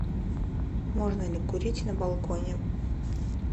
можно ли курить на балконе